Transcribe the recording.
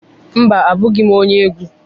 Mba, abụghị m onye egwu.